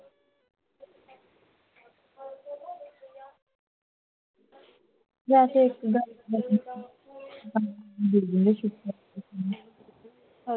ਵੈਸੇ ਇੱਕ ਗੱਲ